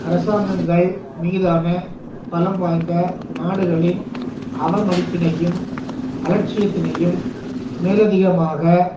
அரசாங்கங்கள் மீதான பலம்வாய்ந்த நாடுகளின் அவமதிப்பினையும் அலட்சியத்தினையும் மேலதிகமாக